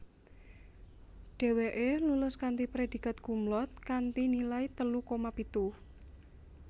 Dheweke lulus kanthi predikat cumlaude kanthi nilai telu koma pitu